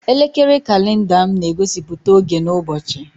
Elekere kalenda m na-egosiputa oge na ụbọchị.